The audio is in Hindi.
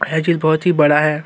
बहोत ही बड़ा है।